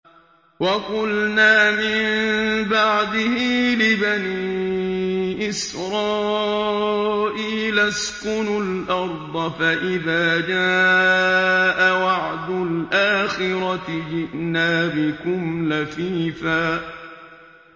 وَقُلْنَا مِن بَعْدِهِ لِبَنِي إِسْرَائِيلَ اسْكُنُوا الْأَرْضَ فَإِذَا جَاءَ وَعْدُ الْآخِرَةِ جِئْنَا بِكُمْ لَفِيفًا